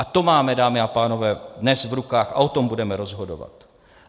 A to máme, dámy a pánové, dnes v rukách a o tom budeme rozhodovat.